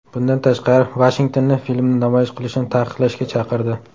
Bundan tashqari, Vashingtonni filmni namoyish qilishni taqiqlashga chaqirdi.